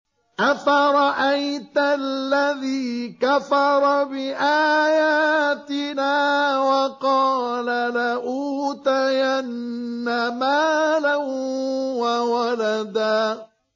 أَفَرَأَيْتَ الَّذِي كَفَرَ بِآيَاتِنَا وَقَالَ لَأُوتَيَنَّ مَالًا وَوَلَدًا